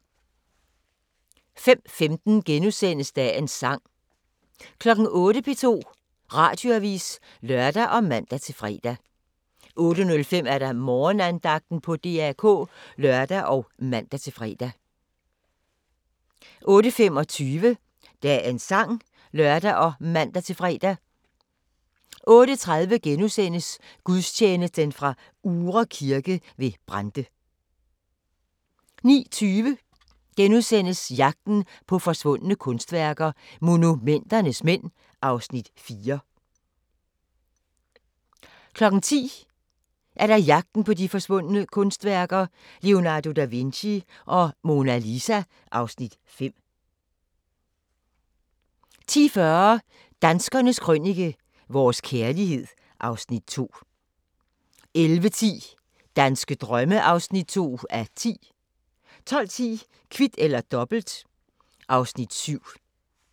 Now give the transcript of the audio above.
05:15: Dagens sang * 08:00: P2 Radioavis (lør og man-fre) 08:05: Morgenandagten på DR K (lør og man-fre) 08:25: Dagens sang (lør og man-tor) 08:30: Gudstjeneste fra Uhre Kirke ved Brande * 09:20: Jagten på forsvundne kunstværker – Monumenternes mænd (Afs. 4)* 10:00: Jagten på forsvundne kunstværker - Leonardo da Vinci og Mona Lisa (Afs. 5) 10:40: Danskernes Krønike - vores kærlighed (Afs. 2) 11:10: Danske drømme (2:10) 12:10: Kvit eller Dobbelt (Afs. 7)